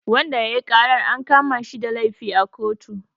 Wanda yayi karar an kamashi da laifi a kotu